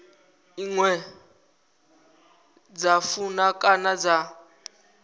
ine dza funa kana dza